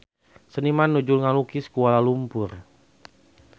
Seniman nuju ngalukis Kuala Lumpur